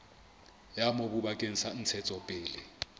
ya mobu bakeng sa ntshetsopele